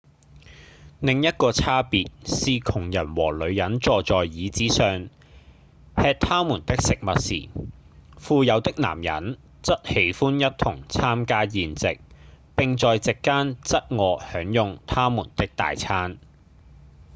另一個差別是窮人和女人坐在椅子上吃他們的食物時富有的男人則喜歡一同參加宴席並在席間側臥享用他們的大餐